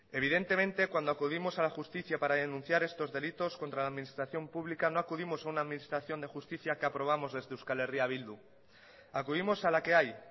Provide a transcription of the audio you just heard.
evidentemente cuando acudimos a la justicia para denunciar estos delitos contra la administración pública no acudimos a una administración de justicia que aprobamos desde eh bildu acudimos a la que hay